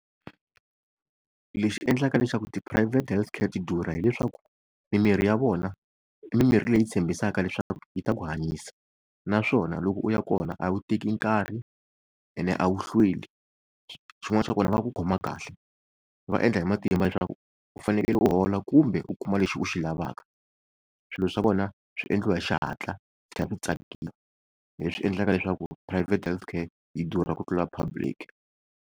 Lexi endlaka leswaku ti-private healthcare ti durha hileswaku, mimirhi ya vona i mimirhi leyi yi tshembisaka leswaku yi ta ku hanyisa. Naswona loko u ya kona a wu teki nkarhi, ene a wu hlweli. Xin'wana xa kona va ku khoma kahle, va endla hi matimba leswaku u fanekele u hola kumbe u kuma lexi u xi lavaka. Swilo swa vona swi endliwa hi xihatla ku tlhela ku tsakiwa hi leswi endlaka leswaku private healthcare yi durha ku tlula public.